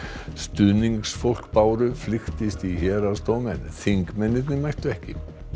stuðningsfólk Báru flykktist í héraðsdóm en þingmennirnir mættu ekki